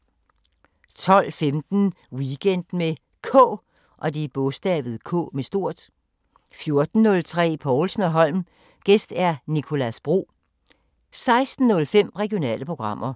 12:15: Weekend med K 14:03: Povlsen & Holm: Gæst Nicolas Bro 16:05: Regionale programmer